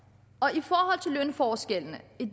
i forhold til lønforskellene vil